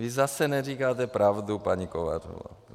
Vy zase neříkáte pravdu, paní Kovářová.